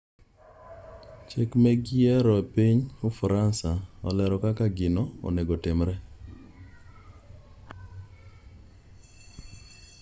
cheke meg yiero e piny ufaransa olero kaka gino onegotimre